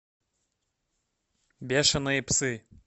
бешеные псы